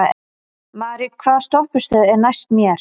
Marit, hvaða stoppistöð er næst mér?